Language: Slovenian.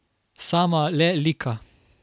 Sama le lika.